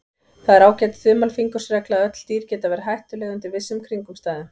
Það er ágæt þumalfingursregla að öll dýr geta verið hættuleg undir vissum kringumstæðum.